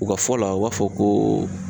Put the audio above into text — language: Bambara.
U ka fɔ la, u b'a fɔ ko